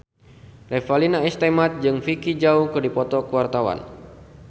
Revalina S. Temat jeung Vicki Zao keur dipoto ku wartawan